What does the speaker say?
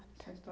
a sua